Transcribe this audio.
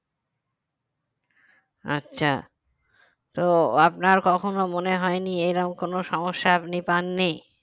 আচ্ছা তো আপনার কখন মনে হয় নি এরকম কোন সমস্যা আপনি পাননি